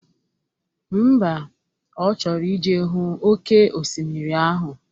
Ḿbà, Ọ chọrọ ije hụ oke osimiri ahụ